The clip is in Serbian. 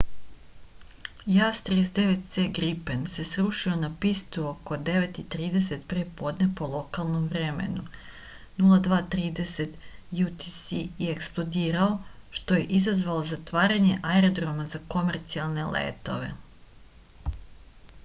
jas 39c gripen се срушио на писту око 9:30 пре подне по локалном времену 02:30 utc и експлодирао што је изазвало затварање аерордрома за комерцијалне летове